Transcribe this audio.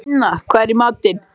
Finna, hvað er í matinn?